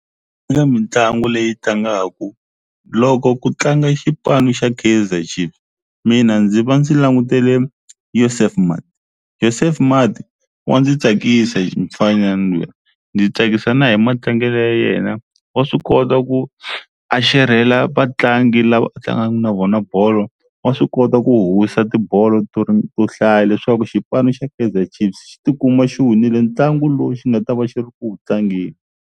mitlagu leyi tlangaku loko ku tlanga xipano xa Kaizer Chiefs mina ndzi va ndzi langutele Yusuf Maart, Yusuf Maart wa ndzi tsakisa mufanyana luya ndzi tsakisa na hi matlangelo ya yena wa swi kota ku a xerhela vatlangi lava a tlangaku na vona bolo wa swi kota ku howisa tibolo to hlaya leswaku xipano xa Kaizer Chiefs xi tikuma xi winile ntlangu lowu xi nga ta va xi ri ku wu tlangeni.